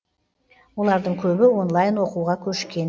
олардың көбі онлайн оқуға көшкен